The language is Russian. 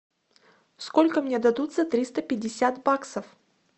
сколько мне дадут за триста пятьдесят баксов